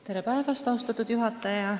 Tere päevast, austatud juhataja!